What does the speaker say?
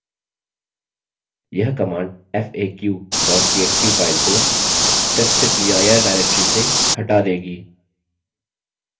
यह command faq txt file को/testdir directory से हटा देगी